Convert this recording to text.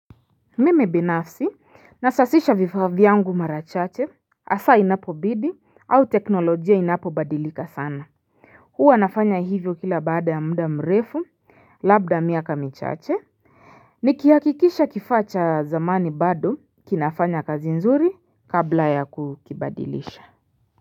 Mimi binafsi nasasisha vifaa vyangu mara chache hasa inapobidi au teknolojia inapobadilika sana huwa nafanya hivyo kila baada ya muda mrefu labda miaka michache Nikihakikisha kifaa cha zamani bado kinafanya kazi nzuri kabla ya kukibadilisha.